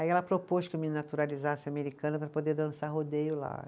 Aí ela propôs que eu me naturalizasse americana para poder dançar rodeio lá.